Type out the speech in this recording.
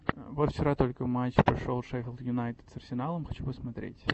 вот вчера только матч прошел шеффилд юнайтед с арсеналом хочу посмотреть